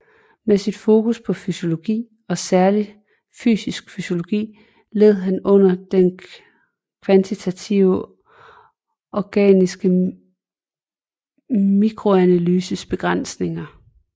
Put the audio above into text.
Med sit fokus på fysiologi og særligt fysisk fysiologi led han under den kvantitative organiske mikroanalyses begrænsninger